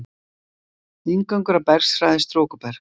Inngangur að bergfræði storkubergs.